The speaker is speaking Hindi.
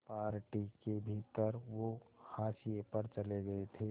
पार्टी के भीतर वो हाशिए पर चले गए थे